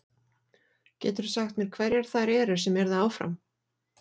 Geturðu sagt mér hverjar þær eru sem yrðu áfram?